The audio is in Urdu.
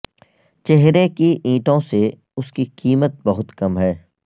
چہرے کی اینٹوں سے اس کی قیمت بہت کم ہے